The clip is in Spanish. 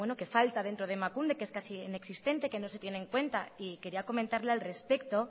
que falta dentro de emakunde que es casi inexistente que no se tiene en cuenta quería comentarle al respecto